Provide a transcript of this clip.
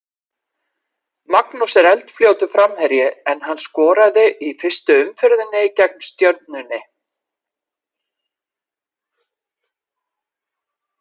Magnús er eldfljótur framherji en hann skoraði í fyrstu umferðinni gegn Stjörnunni.